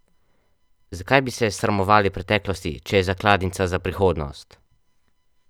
Zakaj bi se sramovali preteklosti, če je zakladnica za prihodnost?